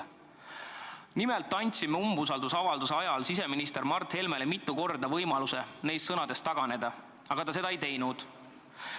" Andsime umbusaldusavalduse arutamise ajal siseminister Mart Helmele mitu korda võimaluse neist sõnadest taganeda, aga ta seda ei teinud.